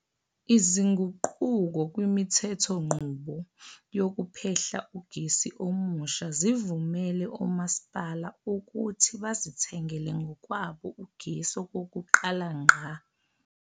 Izinguquko kwimithethonqubo yokuphehla ugesi omusha zivumele omasipala ukuthi bazithengele ngokwabo ugesi okokuqala ngqa.